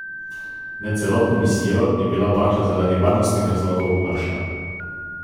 Med celotno misijo je bila bakla zaradi varnostnih razlogov ugašena.